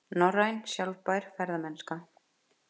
Norræn sjálfbær ferðamennska